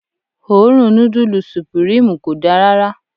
Òórùn nudulu supirimu kò dá rárá.